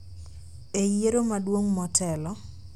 e yiero maduong' motelo